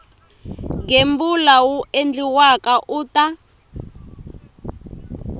gembula wu endliwaka u ta